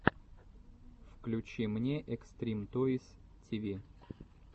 включи мне экстрим тойс ти ви